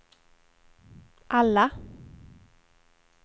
alla